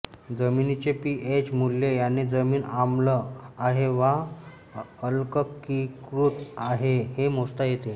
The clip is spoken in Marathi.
जमीनीचे पी एच मुल्य याने जमीन आम्ल आहे वा अल्कलीकृत आहे हे मोजता येते